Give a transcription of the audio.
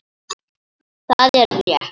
Það er rétt.